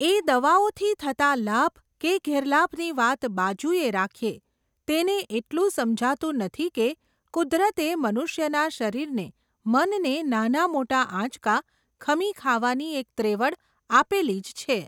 એ દવાઓથી થતા લાભ, કે ગેરલાભની વાત બાજુએ રાખીએ, તેને એટલું સમજાતું નથી કે કુદરતે મનુષ્યના શરીરને, મનને નાના મોટા આંચકા ખમી ખાવાની એક ત્રેવડ આપેલી જ છે.